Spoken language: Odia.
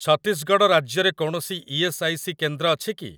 ଛତିଶଗଡ଼ ରାଜ୍ୟରେ କୌଣସି ଇ.ଏସ୍. ଆଇ. ସି. କେନ୍ଦ୍ର ଅଛି କି?